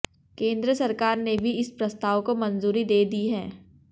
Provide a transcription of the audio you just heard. केंद्र सरकार ने भी इस प्रस्ताव को मंजूरी दे दी है